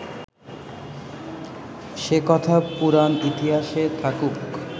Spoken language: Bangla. সে কথা পুরাণ ইতিহাসে থাকুক